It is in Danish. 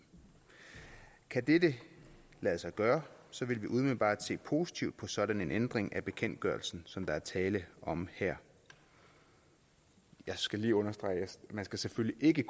kan dette lade sig gøre vil vi umiddelbart se positivt på sådan en ændring af bekendtgørelsen som der er tale om her jeg skal lige understrege at man selvfølgelig ikke